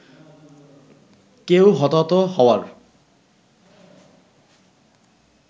কেউ হতাহত হওয়ার